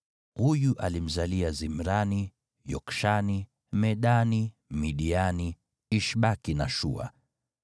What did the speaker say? Huyu alimzalia Zimrani, Yokshani, Medani, Midiani, Ishbaki na Shua.